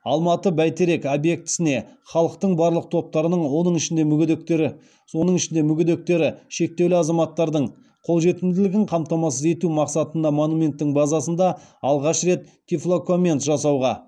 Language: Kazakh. алматы бәйтерек объектісіне халықтың барлық топтарының оның ішінде мүмкіндіктері шектеулі азаматтардың қолжетімділігін қамтамасыз ету мақсатында монументтің базасында алғаш рет тифлокоммент жасауға